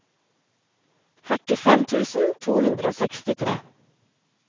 førtifem tusen to hundre og sekstitre